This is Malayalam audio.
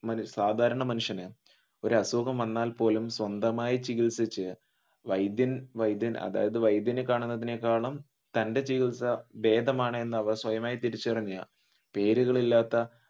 സാധാരണ മനുഷ്യൻ ഒരു അസുഖം വന്നാൽ പോലും സ്വന്തമായി ചികിൽസിച്ചു വൈദ്യൻ വൈദ്യൻ അതായത് വൈദ്യനെ കാണുന്നതിനേക്കാളും തന്റെ ജീവിതം ബേധമാണെന്നു അവർ സ്വയമായി തിരിച്ചറിഞ്ഞു പേരുകളില്ലാത്ത